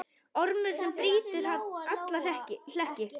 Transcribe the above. Ormur sem brýtur alla hlekki.